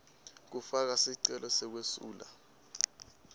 kufaka sicelo sekwesula